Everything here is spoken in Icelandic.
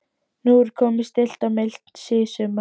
Nú er komið stillt og milt síðsumar.